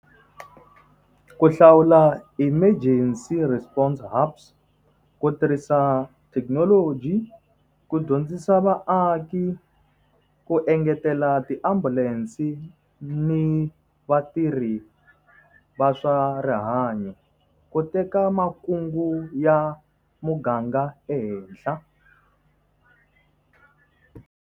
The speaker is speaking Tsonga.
Ku hlawula emergency response hurbs, ku tirhisa thekinoloji, ku dyondzisa vaaki, ku engetela ti ambulance ni vatirhi va swa rihanyo, ku teka makungu ya muganga ehenhla.